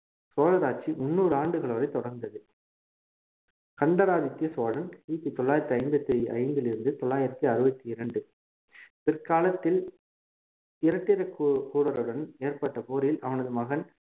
சோழர் ஆட்சி முந்நூறு ஆண்டுகள் வரை தொடர்ந்தது கண்டராதித்ய சோழன் கிபி தொள்ளாயிரத்தி ஐம்பத்தி ஐந்திலிருந்து தொள்ளாயிரத்தி அறுபத்தி இரண்டு பிற்காலத்தில் இராட்டிரகூ~கூடருடன் ஏற்பட்ட போரில் அவனது மகன்